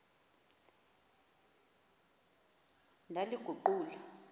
ndaliguqula